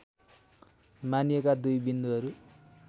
मानिएका दुई बिन्दुहरू